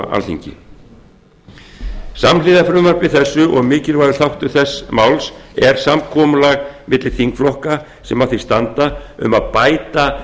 alþingi samhliða frumvarpi þessu og mikilvægur þáttur þessa máls er samkomulag milli þingflokka sem að því standa um að bæta